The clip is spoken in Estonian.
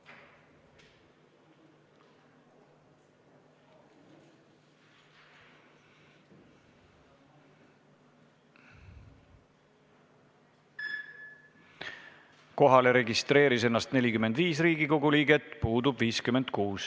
Kohaloleku kontroll Kohalolijaks registreeris ennast 45 Riigikogu liiget, puudub 56.